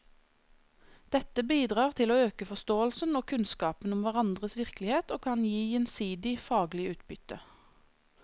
Dette bidrar til å øke forståelsen og kunnskapen om hverandres virkelighet og kan gi gjensidig faglig utbytte.